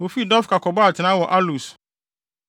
Wofii Dofka kɔbɔɔ atenae wɔ Alus.